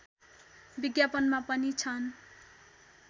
विज्ञापनमा पनि छन्